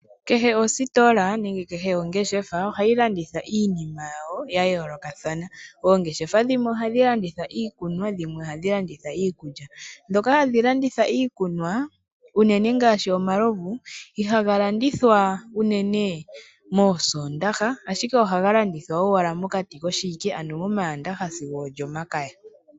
Kehe ositola nenge kehe ongeshefa ohayilanditha iinima yawo yayoolokathana. Oongeshefa dhimwe ohadhilanditha iikunwa nadhimwe ohadhilanditha iikulya. Ndhoka hadhilanditha iikunwa uunene ngaashi omalovu, ihagalandithwa uunene moosondaha ashike ohagalanditha owala mokati koshiwike, uunene momandaha sigo olyomakaya.